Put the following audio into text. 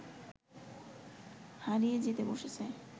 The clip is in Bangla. হারিয়ে যেতে বসেছে